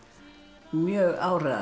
mjög